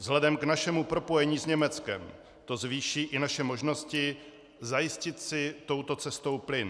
Vzhledem k našemu propojení s Německem to zvýší i naše možnosti zajistit si touto cestou plyn.